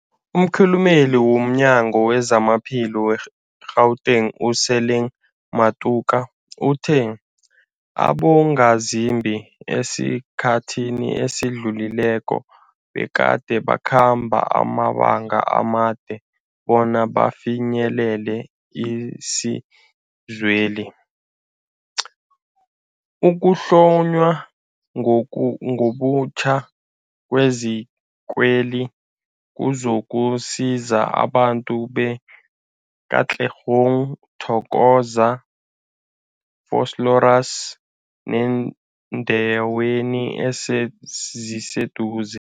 Umkhulumeli womNyango weZamaphilo we-Gauteng, u-Lesemang Matuka uthe abongazimbi esikhathini esidlulileko begade bakhamba amabanga amade bona bafinyelele isizweli. Ukuhlonywa ngobutjha kwezikweli kuzokusiza abantu be-Katlehong, Thokoza, Vosloorus nebeendawo eziseduze.